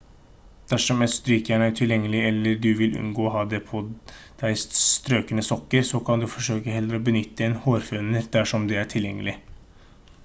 dersom et strykejern er utilgjengelig eller du vil unngå å ha på deg strøkne sokker så kan du forsøke å heller benytte en hårføner dersom det er tilgjengelig